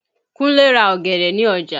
Kúnlé ra ọ̀gẹ̀dẹ̀ ní ọjà.